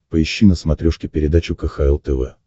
поищи на смотрешке передачу кхл тв